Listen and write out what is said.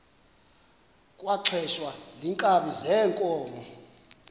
kwaxhelwa iinkabi zeenkomo